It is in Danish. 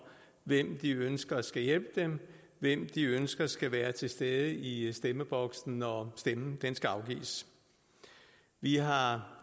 hvem de ønsker skal hjælpe dem hvem de ønsker skal være til stede i stemmeboksen når stemmen skal afgives vi har har